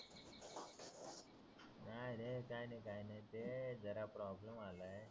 नाही रे काय नाय ते जरा प्रॉब्लेम आलाय